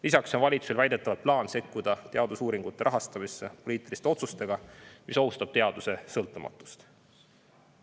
Lisaks on valitsusel väidetavalt plaan sekkuda teadusuuringute rahastamisse poliitiliste otsustega, mis ohustavad teaduse sõltumatust.